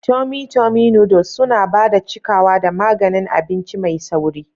Tummy tummy noodles suna ba da cikawa da maganin abinci mai sauri.